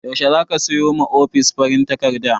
Yaushe zaka sayo ma ofis farin takarda?